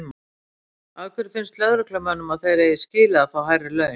Hödd: Af hverju finnst lögreglumönnum að þeir eigi skilið að fá hærri laun?